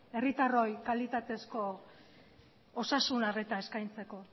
herritarroi kalitatezko osasun arreta eskaintzeko